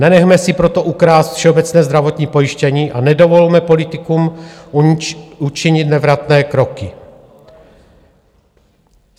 Nenechme si proto ukrást všeobecné zdravotní pojištění a nedovolme politikům učinit nevratné kroky.